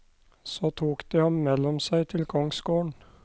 Så tok de ham mellom seg til kongsgården.